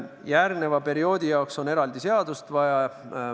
Järgmise perioodi jaoks on eraldi seadust vaja.